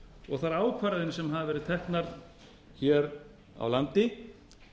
og þær ákvarðanir sem hafa verið teknar hér á landi